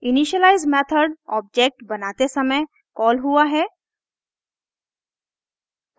initialize method object बनाते समय call हुआ है